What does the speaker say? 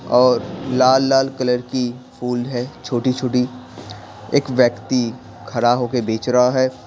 और लाल लाल कलर की फूल है छोटी-छोटी एक व्यक्ति खरा होके बेच रहा है।